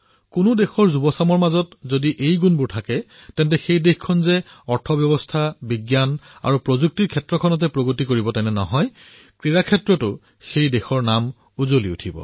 কোনো দেশৰ যুৱ প্ৰজন্মৰ ভিতৰত যদি এই চাৰিটা গুণ থাকে তেন্তে দেশে কেৱল অৰ্থব্যৱস্থা বিজ্ঞান আৰু প্ৰযুক্তিৰ ক্ষেত্ৰত উৎকৰ্ষ লাভ কৰাই নহয় ক্ৰীড়া ক্ষেত্ৰতো অগ্ৰগতি লাভ কৰিব